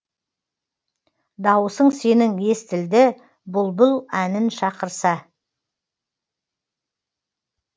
дауысың сенің естілді бұлбұл әнін шақырса